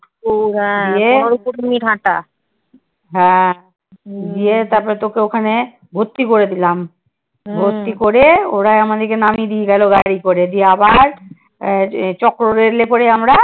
হ্যাঁ দিয়ে তারপর তোকে ওখানে ভর্তি করে দিলাম। ভর্তি করে ওরা আমাদের নামিয়ে দিয়ে গেলো গাড়ি করে। দিয়ে আবার আহ চক্ররেলে করে আমরা